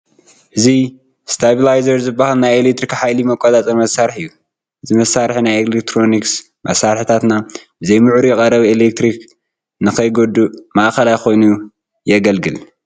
እዚ ስታቢላይዘር ዝበሃል ናይ ኤለክትሪክ ሓይሊ መቖፃፀሪ መሳርሒ እዩ፡፡ እዚ መሳርሒ ናይ ኤለክትሮኒክ መሳርሕታትና ብዘይምዕሩይ ቀረብ ኤለክትሪክ ንከይጉድኡ ማእኸላይ ኮይኑ ይግልግል፡፡